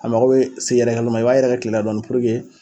A mago bɛ se yɛrɛkɛli ma i b'a yɛrɛkɛ kile la dɔɔni puruke